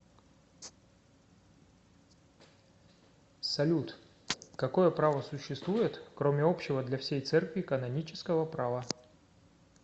салют какое право существует кроме общего для всей церкви канонического права